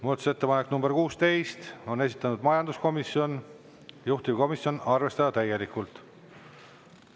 Muudatusettepanek nr 16, on esitanud majanduskomisjon, juhtivkomisjon: arvestada täielikult.